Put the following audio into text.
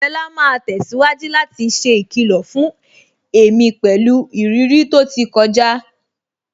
Fela máa tẹ̀síwájú láti ṣe ìkìlọ̀ fún èmi pẹ̀lú ìrírí tó ti kọjá.